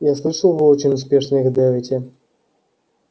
я слышал вы очень успешно их давите